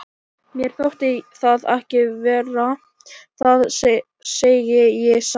Mér þótti það ekki verra, það segi ég satt.